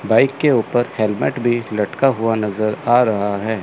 Bike के ऊपर helmet भी लटका हुआ नजर आ रहा है।